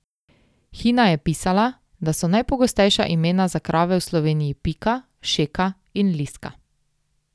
Hina je pisala, da so najpogostejša imena za krave v Sloveniji Pika, Šeka in Liska.